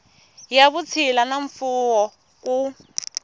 ya vutshila na mfuwo ku